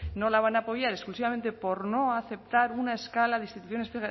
no la van a apoyar exclusivamente por no aceptar una escala de instituciones